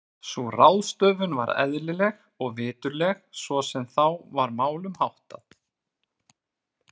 Sú ráðstöfun var eðlileg og viturleg svo sem þá var málum háttað.